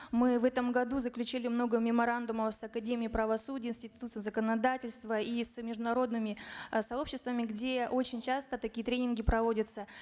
мы в этом году заключили много меморандумов с академией правосудия с институтом законодательства и с международными э сообществами где очень часто такие тренинги проводятся